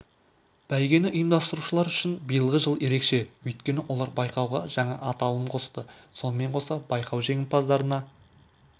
бәйгені ұйымдастырушылар үшін биылғы жыл ерекше өйткені олар байқауға жаңа аталым қосты сонымен қоса байқау жеңімпаздарына